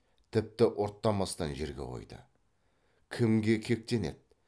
тіпті ұрттамастан жерге қойды кімге кектенеді